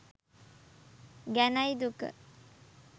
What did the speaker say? ගැනයි දුක.